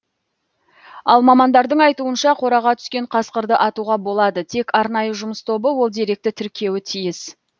ал мамандардың айтуынша қораға түскен қасқырды атуға болады тек арнайы жұмыс тобы ол деректі тіркеуі тиіс